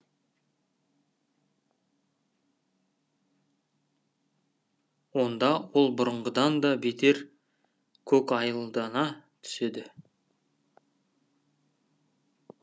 онда ол бұрынғыдан да бетер көкайылдана түседі